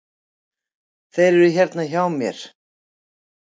Þeir eru hérna hjá mér.